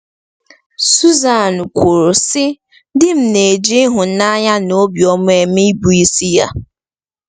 Susan kwuru, sị: “Di m na-eji ịhụnanya na obiọma eme ịbụisi ya.”